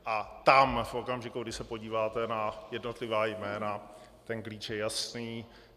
A tam v okamžiku, kdy se podíváte na jednotlivá jména, ten klíč je jasný.